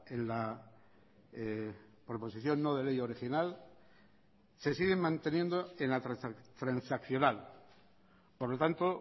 en la proposición no de ley original se siguen manteniendo en la transaccional por lo tanto